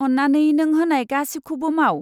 अन्नानै नों हानाय गासिबखौबो माव।